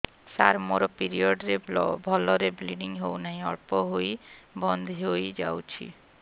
ସାର ମୋର ପିରିଅଡ଼ ରେ ଭଲରେ ବ୍ଲିଡ଼ିଙ୍ଗ ହଉନାହିଁ ଅଳ୍ପ ହୋଇ ବନ୍ଦ ହୋଇଯାଉଛି